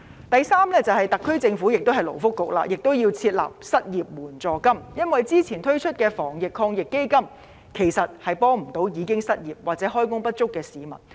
第三，特區政府——同樣是勞工及福利局——也要設立失業援助金，因為之前推出的防疫抗疫基金措施其實無法幫助已經失業或開工不足的市民。